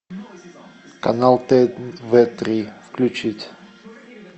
канал тв три включить